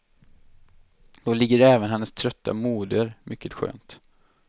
Då ligger även hennes trötta moder mycket skönt.